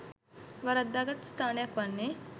වරද්දාගත් ස්ථානයක් වන්නේ